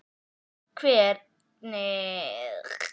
Hvernig er stemmningin í hópnum?